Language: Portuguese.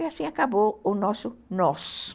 E assim acabou o nosso nós.